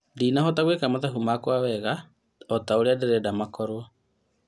Ndinahota gwĩka mathabu makwa wega otaũrĩa nderenda makorwo